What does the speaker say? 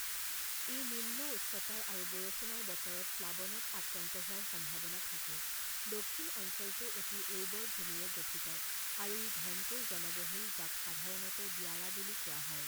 ই নিম্ন উচ্চতাৰ আৰু বৰষুণৰ বতৰত প্লাৱনত আক্ৰান্ত হোৱাৰ সম্ভাৱনা থাকে দক্ষিণ অঞ্চলটো অতি উৰ্বৰ ভূমিৰে গঠিত আৰু ই ঘনকৈ জনবহুল যাক সাধাৰণতে দিয়াৰা বুলি কোৱা হয়।